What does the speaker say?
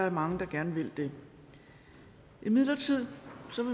at mange gerne vil det imidlertid